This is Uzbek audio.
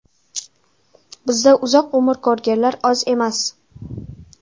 Bizda uzoq umr ko‘rganlar oz emas.